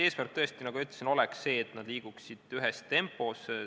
Eesmärk on tõesti see, nagu ma ütlesin, et need liiguksid ühes tempos.